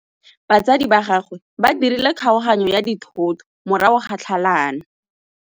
Batsadi ba gagwe ba dirile kgaoganyô ya dithoto morago ga tlhalanô.